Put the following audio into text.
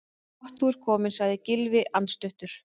Gott þú ert kominn- sagði Gylfi andstuttur.